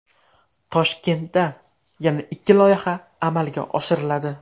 Toshkentda yana ikki loyiha amalga oshiriladi.